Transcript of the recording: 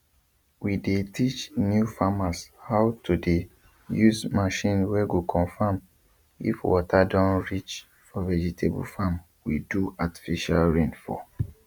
we dey teach new farmershow to the dey use machine wey go confirm if water don reach for vegetable farm we do artifical rain for